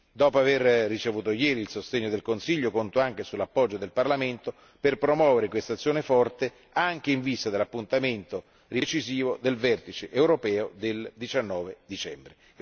Dopo aver ricevuto ieri il sostegno del Consiglio, conto anche sull'appoggio del Parlamento per promuovere questa azione forte anche in vista dell'appuntamento decisivo del vertice europeo del 19 dicembre.